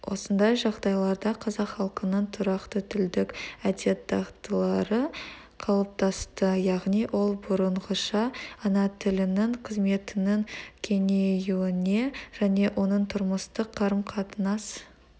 осындай жағдайларда қазақ халқының тұрақты тілдік әдет-дағдылары қалыптасты яғни ол бұрынғыша ана тілінің қызметінің кеңеюіне және оның тұрмыстық қарым-қатынас